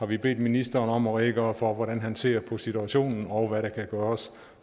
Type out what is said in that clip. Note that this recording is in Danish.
vi bedt ministeren om at redegøre for hvordan han ser på situationen og hvad der kan gøres